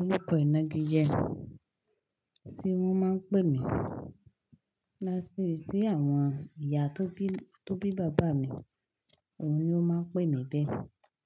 Orúkọ ìnagijẹ tí wọ́n máa ń pè mí, láti tí àwọn ìyá tó bí, tó bí bàbá mi, òun ni ó máa ń pè mí bẹ́ẹ̀.